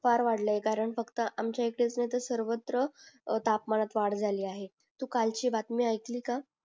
फार वाढलाय कारण आमच्या इथेच नाय तर सर्वत्र अं तापमानत वाड झाली आहे तू कालची बातमी ऐकली का